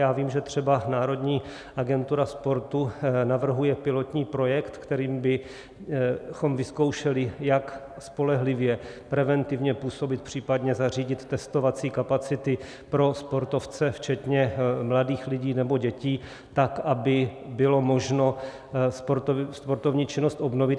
Já vím, že třeba národní agentura sportu navrhuje pilotní projekt, kterým bychom vyzkoušeli, jak spolehlivě preventivně působit, případně zařídit testovací kapacity pro sportovce včetně mladých lidí nebo dětí, tak aby bylo možno sportovní činnost obnovit.